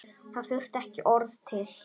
Það þurfti ekki orð til.